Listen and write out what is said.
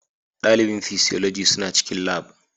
Dalibin Physiology suna cikin Lab